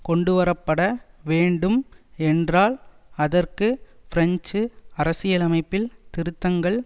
கொண்டுவரப்பட வேண்டும் என்றால் அதற்கு பிரெஞ்சு அரசியலமைப்பில் திருத்தங்கள்